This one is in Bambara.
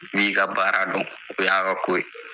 Ni i ka baara dɔn, o y'a ka ko.